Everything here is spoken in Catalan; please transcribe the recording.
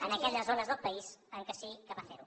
en aquelles zones del país en què sí que va fer ho